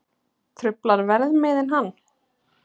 Truflar verðmiðinn hann?